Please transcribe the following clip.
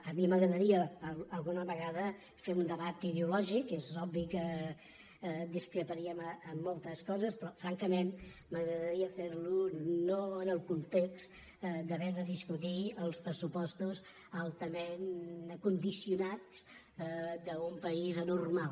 a mi m’agra·daria alguna vegada fer un debat ideològic és obvi que discreparíem en moltes coses però francament m’agradaria fer·lo no en el context d’haver de discutir els pressupostos altament condicionats d’un país anor·mal